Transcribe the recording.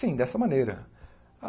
Sim, dessa maneira.